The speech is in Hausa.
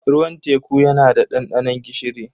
Ruwan teku yana da dandanon gishiri.